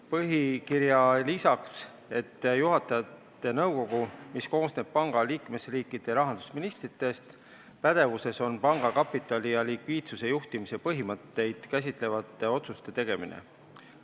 Põhikirja lisatakse, et juhatajate nõukogu pädevuses – nõukogu koosneb panga liikmesriikide rahandusministritest – on panga kapitali ja likviidsuse juhtimise põhimõtteid käsitlevate otsuste tegemine.